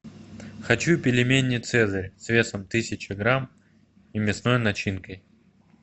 хочу пельмени цезарь с весом тысяча грамм и мясной начинкой